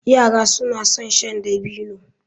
Yara suna son shan dabino.